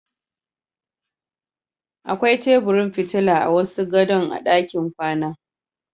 Da akwai teburin fitila a wasu gadon a ɗakin kwana.